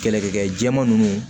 Kɛlɛkɛ jɛman nunnu